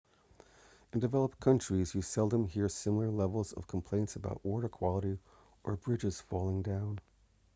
in developed countries you seldom hear similar levels of complaints about water quality or bridges falling down